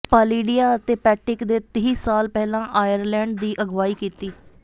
ਪਾਲੀਡੀਆ ਅਤੇ ਪੈਟਿਕ ਦੇ ਤੀਹ ਸਾਲ ਪਹਿਲਾਂ ਆਇਰਲੈਂਡ ਦੀ ਅਗਵਾਈ ਕੀਤੀ